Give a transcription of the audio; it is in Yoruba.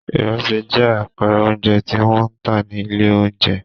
Ìrẹsì jẹ́ àpẹẹrẹ oúnjẹ tí wọ́n ń tà ní ilé-oúnjẹ.